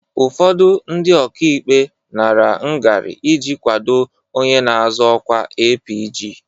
ụfọdụ ndị ọkaikpe nara ngarị iji kwado onye na-azọ ọkwa APG.